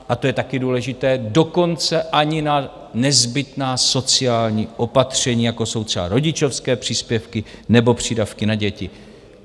A to je taky důležité - dokonce ani na nezbytná sociální opatření, jako jsou třeba rodičovské příspěvky nebo přídavky na děti.